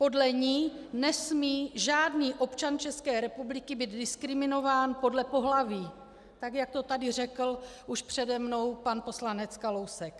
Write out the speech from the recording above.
Podle ní nesmí žádný občan České republiky být diskriminován podle pohlaví, tak jak to tady řekl už přede mnou pan poslanec Kalousek.